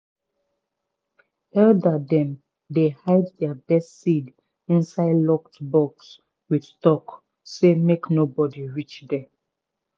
elder dem dey hide their best seed inside locked box with talk say make no body reach there